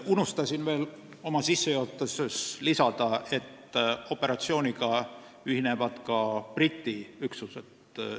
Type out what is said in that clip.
Unustasin oma sissejuhatuses lisada, et operatsiooniga ühinevad ka Briti üksused.